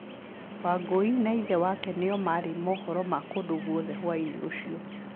Wangũi na ithe wake nĩo maarĩ mohoro ma kũndũ gwothe hwaiinĩ ũcio.